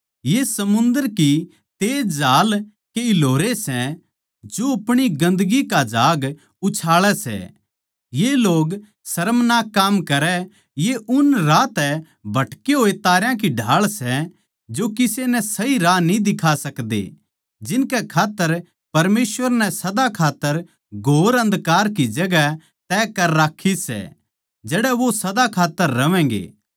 ये समुन्दर की तेज झाल के हिलोरे सै जो अपणी गंदगी का झाग उछाळै सै ये लोग शर्मनाक काम करै ये उन राह तै भटके होए तारां की ढाळ सै जो किसे नै सही राह न्ही दिखा सकदे जिनकै खात्तर परमेसवर नै सदा का घोर अन्धकार की जगहां तय कर राक्खी सै जड़ै वो सदा खात्तर रहवैंगे